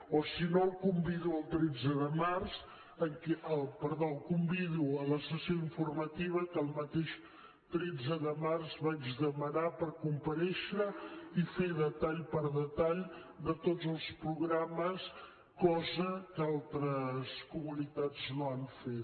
o si no el convido a la sessió informativa que el mateix tretze de març vaig demanar per comparèixer i fer detall per detall de tots els programes cosa que altres comunitats no han fet